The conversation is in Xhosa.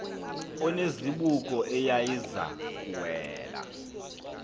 onezibuko eyayiza kuwela